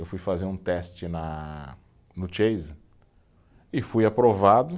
Eu fui fazer um teste na, no Chase e fui aprovado.